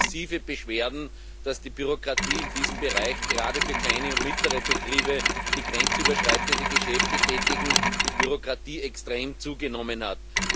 Es gibt massive Beschwerden, dass die Bürokratie in diesem Bereich gerade für kleine und mittlere Betriebe, die grenzüberschreitende Geschäfte tätigen, extrem zugenommen hat.